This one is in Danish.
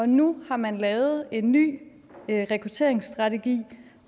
nu har man lavet en ny rekrutteringsstrategi